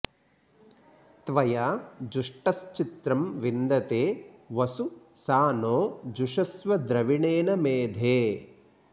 त्वया जुष्टश्चित्रं विन्दते वसु सा नो जुषस्व द्रविणेन मेधे